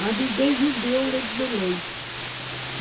Mas ninguém vendia o litro de leite.